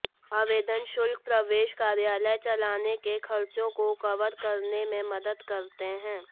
आवेदन शुल्क प्रवेश कार्यालय चलाने के खर्चों को कवर करने में मदद करते हैं